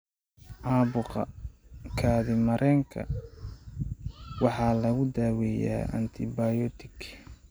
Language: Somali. Caabuqa kaadi mareenka waxaa lagu daaweeyaa antibiyootik.